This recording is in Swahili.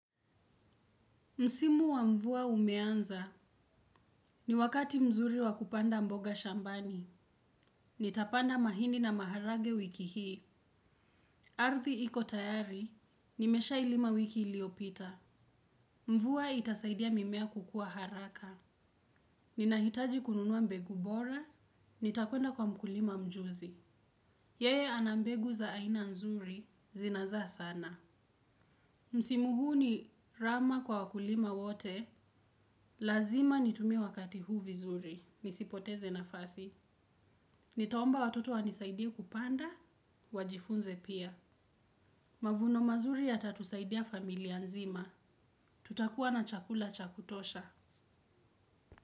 Msimu wa mvua umeanza ni wakati mzuri wa kupanda mboga shambani. Nitapanda mahindi na maharagwe wiki hii. Ardhi iko tayari, nimeshailima wiki iliopita. Mvua itasaidia mimea kukua haraka. Ninahitaji kununua mbegu bora, nitakwenda kwa mkulima mjuzi. Yeye ana mbegu za aina nzuri, zinazaa sana. Msimu huu ni rama kwa wakulima wote. Lazima nitumie wakati huu vizuri. Nisipoteze nafasi. Nitaomba watoto wanisaidie kupanda, wajifunze pia. Mavuno mazuri yatatusaidia familia nzima. Tutakuwa na chakula cha kutosha.